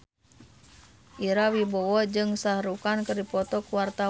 Ira Wibowo jeung Shah Rukh Khan keur dipoto ku wartawan